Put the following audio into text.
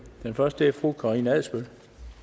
den første spørger er fru karina adsbøl